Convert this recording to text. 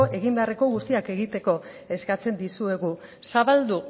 egin beharreko guztiak egiteko eskatzen dizuegu zabaldu